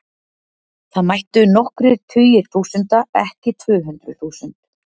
Það mættu nokkrir tugir þúsunda, ekki tvö hundruð þúsund.